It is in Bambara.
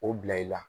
O bila i la